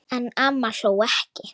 En amma hló ekki.